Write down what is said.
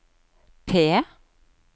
P